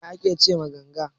Menene ake ce ma ganga?